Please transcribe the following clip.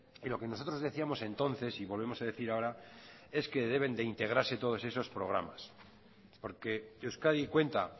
y lo que nosotros decíamos entonces y volvemos a decir ahora es que deben de integrarse todos esos programas porque euskadi cuenta